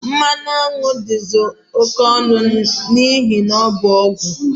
Mmanụ aṅụ dị oke ọnụ n'ihi na ọ bụ ọgwụ